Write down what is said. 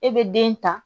E bɛ den ta